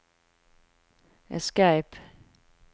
escape